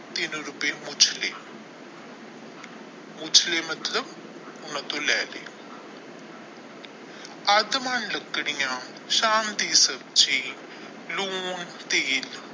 ਤਿਨ ਰੁਪਏ ਪੁੱਛ ਲਏ ਪੁੱਛ ਲੈ ਮਤਲਬ ਉਹਨਾਂ ਤੋਂ ਲੈ ਲੈ ਸ਼ਾਮ ਦੀ ਸਬਜ਼ੀ ਲੂਣ ਤੇਲ।